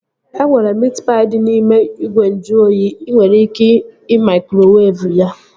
E nwere miit paị dị n'ime ìgwè nju oyi. Ị nwere ike ị maikrowevu ya